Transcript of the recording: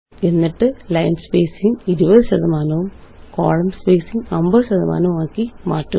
എന്നിട്ട് line spacing 20 ശതമാനവും column spacing 50 ശതമാനവും ആകി മാറ്റുക